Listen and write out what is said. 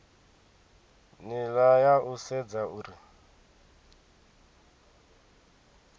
nila ya u sedza uri